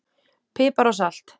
Pipar og salt